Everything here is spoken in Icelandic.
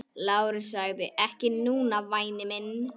LÁRUS: Ekki núna, væni minn.